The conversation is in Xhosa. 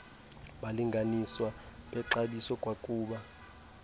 balinganiswa bexabiso kwakuba